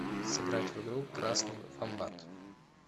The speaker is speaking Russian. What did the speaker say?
сыграть в игру красный вомбат